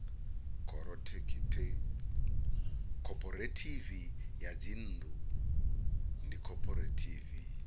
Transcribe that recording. khophorethivi ya dzinnḓu ndi khophorethivi